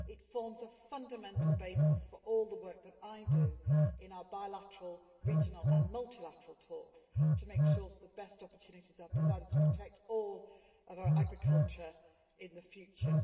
It forms a fundamental basis for all the work that I do in our bilateral, regional and multilateral talks to make sure that the best opportunities are provided to protect all of our agriculture in the future.